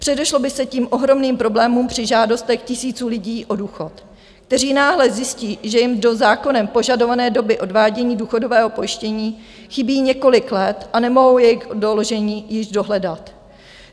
Předešlo by se tím ohromným problémům při žádostech tisíců lidí o důchod, kteří náhle zjistí, že jim do zákonem požadované doby odvádění důchodového pojištění chybí několik let a nemohou jejich doložení již dohledat.